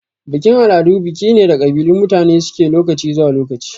Bikin-al'adu biki ne da kabilun mutane suke lokaci zuwa lokaci.